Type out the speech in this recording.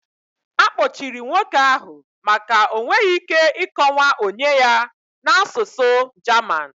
Akpọchiri nwoke ahụ maka o nweghị ike ịkọwa onye ya na asụsụ German.